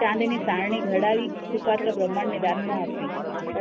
ચાંદીની સારણી ઘડાવી સુપાત્ર બ્રાંમણને દાનમાં આપી.